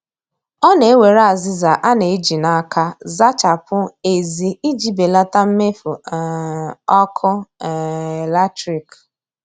Ọ na-ewere azịza a na-eji n' aka zachapụ èzí iji belata mmefu um ọkụ um latrik